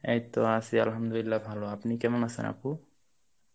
এইতো আছি Arbi ভালো আপনি কেমন আছেন আপু?